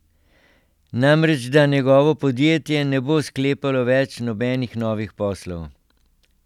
Namreč da njegovo podjetje ne bo sklepalo več nobenih novih poslov.